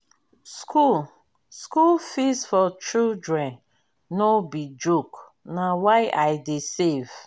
school school fees for children no be joke na why i dey save.